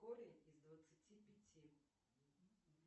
корень из двадцати пяти